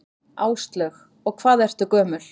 Áslaug: Og hvað ertu gömul?